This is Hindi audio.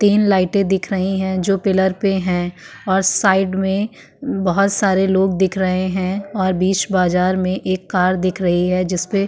तीन लाइटें दिख रही हैं जो पिलर पे हैं और साइड में बहोत सारे लोग दिख रहे हैं और बीच बाजार में एक कार दिख रही है जिसपे --